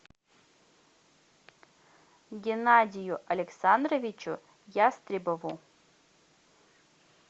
геннадию александровичу ястребову